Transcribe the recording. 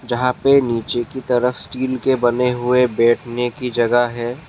यहाँ पे नीचे की तरफ़ स्टील के बने हुए बैठने की जगह है।